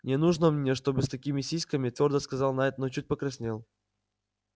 не нужно мне чтобы с такими сиськами твёрдо сказал найд но чуть покраснел